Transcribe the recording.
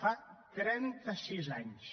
fa trenta sis anys